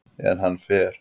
En hann fer.